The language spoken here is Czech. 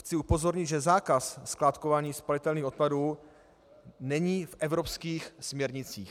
Chci upozornit, že zákaz skládkování spalitelných odpadů není v evropských směrnicích.